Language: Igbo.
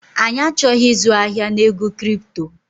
Anyị achọghị ịzụ ahịa na ego kripto